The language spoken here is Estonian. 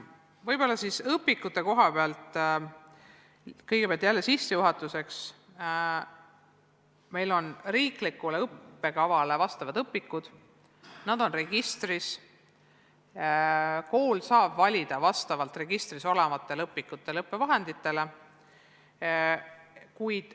Võib-olla ütlen õpikute kohta kõigepealt jälle sissejuhatuseks, et meil on riiklikule õppekavale vastavad õpikud, need on registris, kust kool saab valida õpikuid-õppevahendeid.